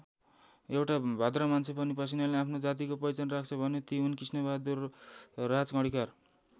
एउटा भद्र मान्छे पनि पसिनाले आफ्नो जातिको पहिचान राख्छ भने ती हुन् कृष्णबहादुर राजकर्णिकार।